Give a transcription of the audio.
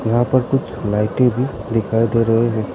यहां पर कुछ लाइटे भी दिखाई दे रहे हैं।